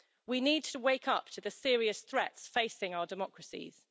We need to wake up to the serious threats facing our democracies.